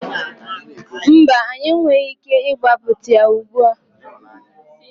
Mba, anyị enweghị ike ịgbapụta ya ugbu a.